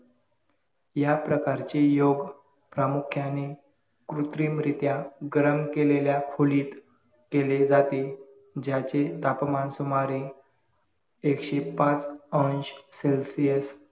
या प्रकारचे योग प्रामुख्याने कृत्रिम रित्या गरम केलेल्या खोलीत केले जाते ज्याचे तापमान सुमारे एकशे पाच अंश CELSIUS